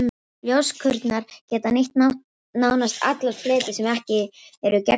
Ljóskurnar geta nýtt nánast alla fleti sem ekki eru gegnsæir.